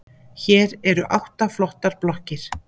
Hér eru átta flottar blokkir.